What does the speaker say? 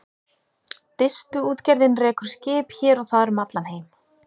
Distuútgerðin rekur skip hér og þar um allan heim.